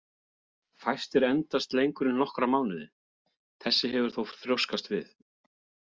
Fæstir endast lengur en nokkra mánuði, þessi hefur þó þrjóskast við.